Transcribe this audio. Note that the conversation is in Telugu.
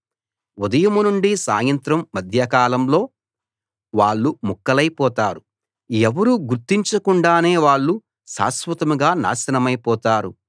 ఉదయం నుండి సాయంత్రం మధ్యకాలంలో వాళ్ళు ముక్కలైపోతారు ఎవరూ గుర్తించకుండానే వాళ్ళు శాశ్వతంగా నాశనమైపోతారు